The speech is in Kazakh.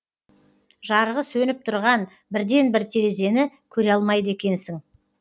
жарығы сөніп тұрған бірден бір терезені көре алмайды екенсің